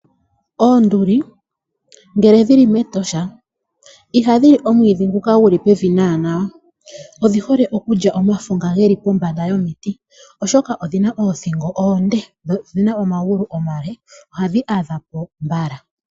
Oonduli ngele dhili mEtosha, ihadhi li omwiidhi ngoka gu li pevi naana, odhihole okulya omafo nga ge li pombanda yomiti, oshoka odhina oothingo onde noomagulu omale, ohadhi adhapo mbala.